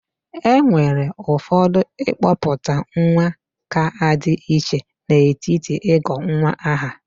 Enwere ụfọdụ ịkpọpụta nwa ga-adi iche n'etiti ịgọ nwa aha.